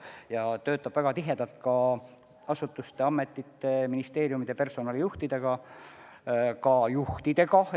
Ta töötab väga tihedalt sidemetes ametite ja ministeeriumide personalijuhtidega ja muude juhtidega.